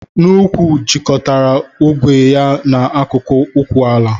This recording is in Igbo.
N'úkwù jikọtara ogwe ya na akụkụ ụkwụ ala.